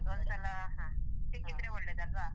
ಹೌದು ಒಂದ್ಸಲ ಹಾ ಸಿಕ್ಕಿದ್ರೆ ಒಳ್ಳೆದಲ್ವಾ.